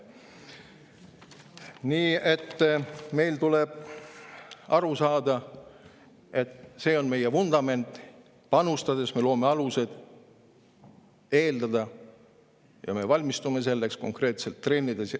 Nii et meil tuleb aru saada, et see on meie vundament, panustades me loome alused eeldada ja me valmistume selleks konkreetselt treenides.